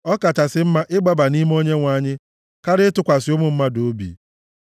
Ọ kachasị mma ịgbaba nʼime Onyenwe anyị karịa ịtụkwasị ụmụ mmadụ obi.